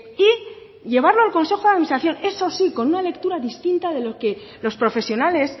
y llevarlo al consejo de administración eso sí con una lectura distinta de lo que los profesionales